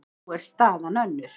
Nú er staðan önnur.